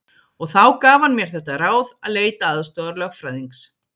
Og þá gaf hann mér þetta ráð að leita aðstoðar lögfræðings.